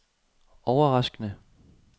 overraskende